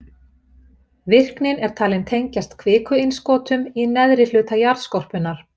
Virknin er talin tengjast kvikuinnskotum í neðri hluta jarðskorpunnar.